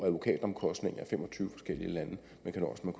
advokatomkostninger i fem og tyve forskellige lande men kan nøjes med